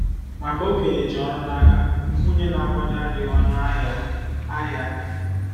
Maka okenye ji ọrụ n'aka, nwunye na-akwado adịghị ọnụ ahịa! ahịa!